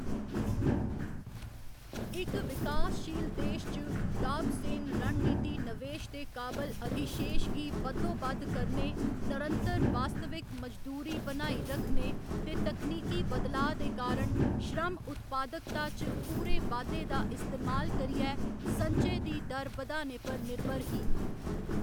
इक विकासशील देश च, डाब सेन रणनीति नवेश दे काबल अधिशेश गी बद्धोबद्ध करने, नरंतर वास्तविक मजदूरी बनाई रक्खने ते तकनीकी बदलाऽ दे कारण श्रम उत्पादकता च पूरे बाद्धे दा इस्तेमाल करियै संचय दी दर बधाने पर निर्भर ही।